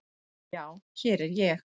Já, hér var ég.